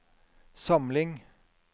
samling